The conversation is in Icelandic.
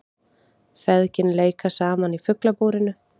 Feðgin leika saman í Fuglabúrinu